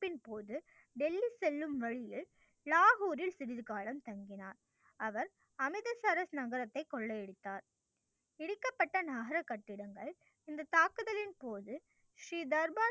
போது டெல்லி செல்லும் வழியில் லாகுரில் சிறிது காலம் தங்கினார். அவர் அமித சரஸ் நகரத்தை கொள்ளை அடித்தார். இடிக்கப்பட்ட நகர கட்டிடங்கள் இந்த தாக்குதலின் போது ஸ்ரீ தர்பா